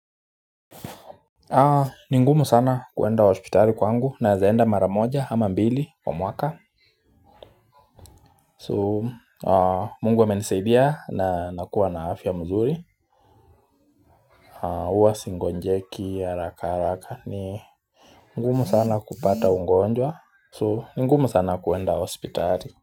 Ni ngumu sana kuenda hospitali kwangu naeza enda mara moja ama mbili kwa mwaka So mungu amenisaidia na nakuwa na afya mzuri huwa sigonjeki harakaharaka ni ngumu sana kupata ungonjwa So ni ngumu sana kuenda hospitali.